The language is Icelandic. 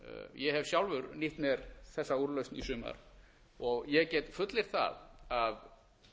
ég hef sjálfur nýtt mér þessa úrlausn í sumar ég get fullyrt það að